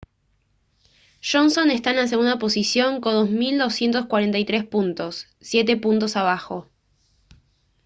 johnson está en la segunda posición con 2243 puntos siete puntos abajo